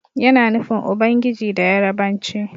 Yana nufin Ubangiji da Yarabanci.